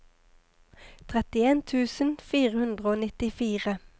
trettien tusen fire hundre og nittifire